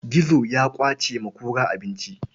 Gizo ya ƙwace wa kura abinci.